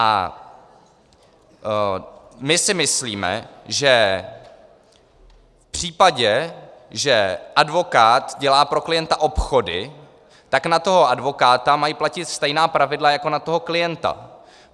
A my si myslíme, že v případě, že advokát dělá pro klienta obchody, tak na toho advokáta mají platit stejná pravidla jako na toho klienta.